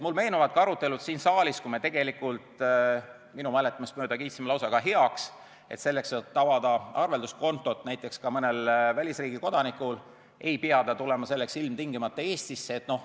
Mulle meenuvad arutelud siin saalis, kui me minu mäletamist mööda kiitsime lausa heaks selle, et arvelduskonto avamiseks näiteks ka välisriigi kodanik ei pea ilmtingimata Eestisse tulema.